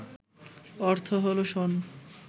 অর্থ হলো শণ